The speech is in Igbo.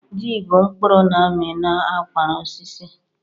Ji bụ mkpụrụ na-ami n'akwara osisi.